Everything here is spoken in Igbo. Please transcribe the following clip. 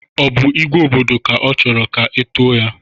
Ọ bụ "igwe obodo" ka ọ chọrọ ka e tuo ya?